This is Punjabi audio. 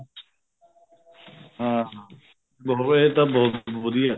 ਹਾਂ ਹਾਂ ਰਹੇ ਤਾਂ ਬਹੁਤ ਵਧੀਆ